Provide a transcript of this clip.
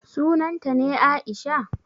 Sunanta ne Aisha?